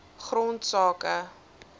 grondsake